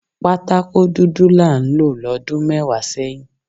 Patakó dúdú là ń lò lọ́dún mẹ́wàá sẹ́yìn